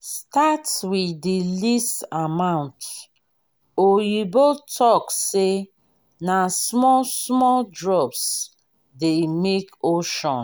start with the least amount oyibo talk say na small small drops dey make ocean